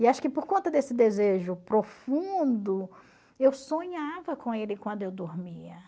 E acho que por conta desse desejo profundo, eu sonhava com ele quando eu dormia.